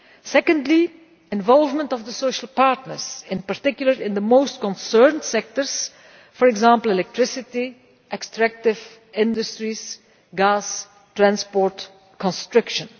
Secondly, involvement of the social partners, in particular, in the most concerned sectors, for example electricity, extractive industries, gas, transport and construction.